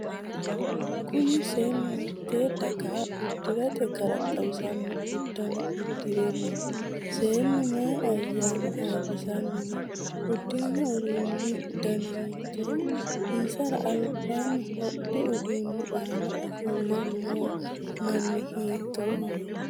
Kunni seenu hiitee dagaha udirate gara xawisano udano udire no? Seenu mayi ayaanna ayirisanni no? Udirino udano danni hiitooho? Isara albaanni hodhi uduunni aanna ofole noo manni hiitooho?